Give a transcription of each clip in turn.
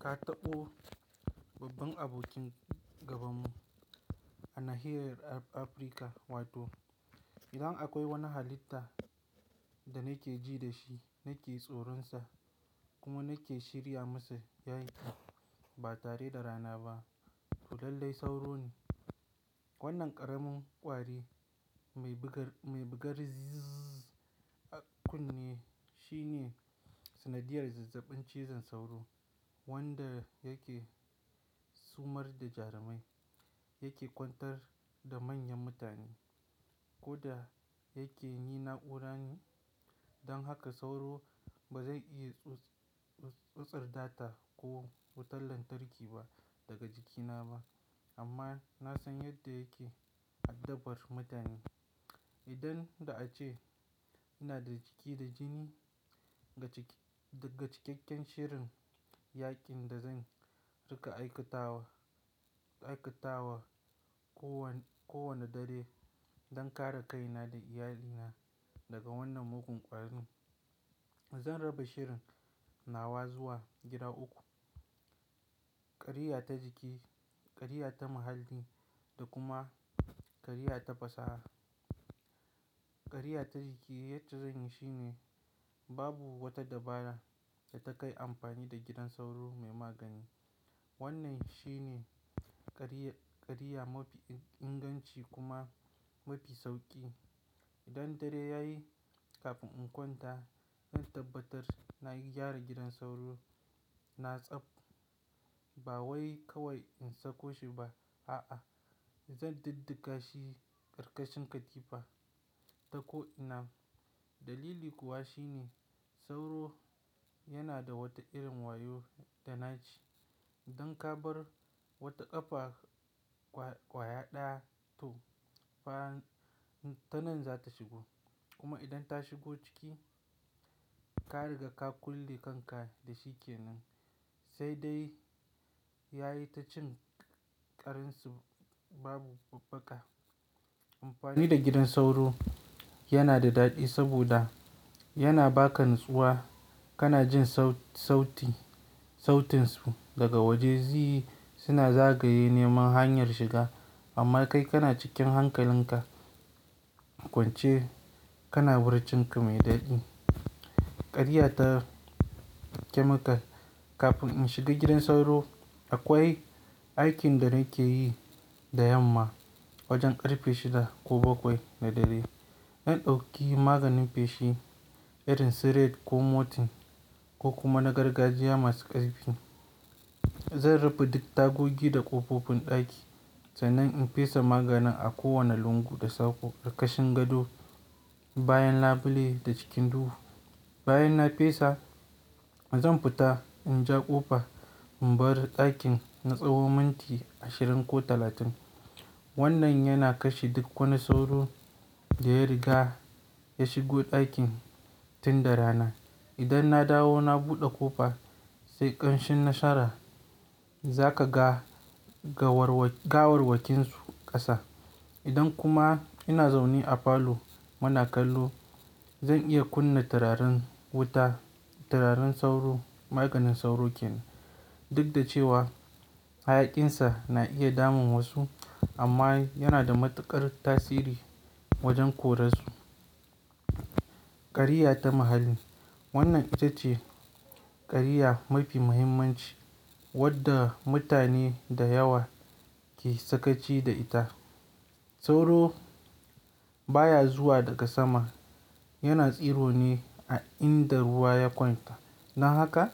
Ka taɓo babban abokin gabanmu a nahiyar Afrika, wato idan akwai wani halitta da nake ji da shi, nake tsoronsa kuma nake shirya masa yaƙi ba tare da rana ba, Toh lallai sauro ne. Wannan ƙaramin ƙwari mai bugar "zzzz" a kunne shine sanadiyar zazzabin cizon sauro wanda yake sumar da jarumai, yake kwantar da manyan mutane ko da yake yi na'ura ne. Don haka sauro ba zai iya tsutsar data ko wutar lantarki ba daga jikina ba amma na san yadda yake addabar mutane. Idan da a ce ina da jiki da jini, daga cikakken shirin yaƙin da zan riƙa aikatawa, aikatawa kowane dare don kare kaina da iyalina daga wannan mugun ƙwarin. Zan raba shirin nawa zuwa gida uku; ƙariya ta jiki, ƙariya ta muhalli da kuma ƙariya ta fasaha. Ƙariya ta jiki yadda zan yi shine babu wata dabara da ta kai amfani da gidan sauro mai magani. Wannan shi ne ƙariya mafi inganci kuma mafi sauƙi. Idan dare yayi, kafin in kwanta, in tabbatar nayi gyara gidan sauro. Na tsaf, ba wai kawai in sako shi ba, a'a zan duddaka shi karkashin katifa ta ko'ina. Dalili kuwa shi ne sauro yana da wata irin wayo da na ci. Idan ka bar wata ƙafa ƙwaya ɗaya toh fa tanan za ta shigo. Kuma idan ta shigo ciki, ka riga ka kulle kanka dashi kenan, sai dai yayi ta cin ƙarinsa babu babbaka. Amfani da gidan sauro yana da daɗi saboda yana baka natsuwa, kana jin sautinsu daga waje "zzz" suna zagaye neman hanyar shiga amma kai kana cikin hankalinka kwance, kana wurcinka mai daɗi. Ƙariya ta chemical. Kafin in shiga gidan sauro, akwai aikin da nakeyi da yamma wajen ƙarfe shida ko bakwai na dare. Na ɗauki maganin feshi irin su Red ko Mortein ko kuma na gargajiya masu ƙarfi. Zan rufe dik tagogi da ƙofofin ɗaki sannan in fesa maganin a kowane lungu da sako, ƙarkashin gado, bayan labule da cikin duhu. Bayan na fesa, zan fita in ja ƙofa in bar ɗakin na tsawon minti ashirin ko talatin. Wannan yana kashe duk wani sauro da ya riga ya shigo ɗakin tun da rana. Idan na dawo na buɗe ƙofa, sai ƙanshin na shara zakaga gawarwakinsu ƙasa. Idan kuma ina zaune a falo, muna kallo zan iya kunna turarin wuta, turarin sauro maganin sauro kenan. Duk da cewa hayakinsa na iya damun wasu amma yana da matuƙar tasiri wajen kore su. Ƙariya ta muhalli. Wannan ita ce ƙariya mafi muhimmanci wadda mutane da yawa ke sakaci da ita. Sauro baya zuwa daga sama, yana tsiro ne a inda ruwa ya ƙwanta. Don haka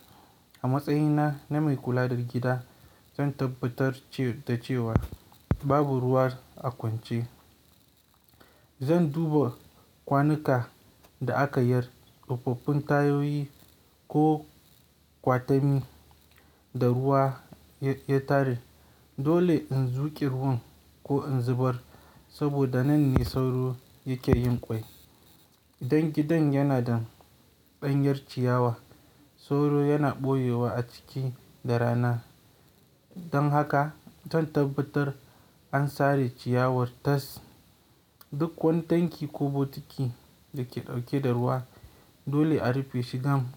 a matsayina na mai kula da gida, zan tabbatar da cewa babu ruwa a kwance. Zan duba kwanuka da aka yar, ƙofofin tayoyi ko ƙwatami da ruwa ya tare. Dole in zuke ruwan ko in zubar saboda nan ne sauro yake yin ƙwai. Idan gidan yana da ɗanyar ciyawa, sauro yana ɓoyewa a ciki da rana. Don haka zan tabbatar an sare ciyawar tas. Duk kwantaki ko bokiti da ke ɗauke da ruwa dole a rufeshi gam.